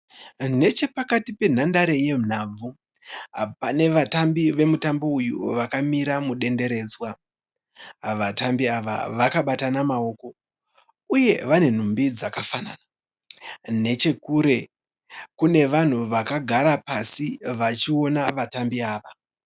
Nechepakati penhandare yenhabvu, pane vatambi vomutambo uyu vakamira mudenderedzwa. Vatambi ava vakabatana maoko uye vane nhumbi dzakafanana. Nechekure kune vanhu vakagara pasi vachiona vatambi ava.